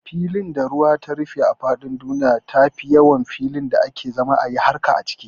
Filin da ruwa ta rufe a faɗin duniya tafi yawan filin da ake zama ayi harka a ciki